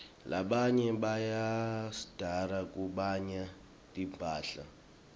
labanyenti bayatsrdza kubanya timphahla